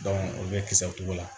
o bɛ kisɛ t'o la